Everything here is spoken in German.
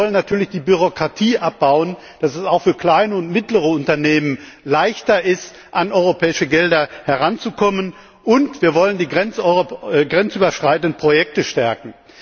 Wir wollen natürlich die Bürokratie abbauen, damit es auch für kleine und mittlere Unternehmen leichter ist, an europäische Gelder heranzukommen, und wir wollen die grenzüberschreitenden Projekte stärken.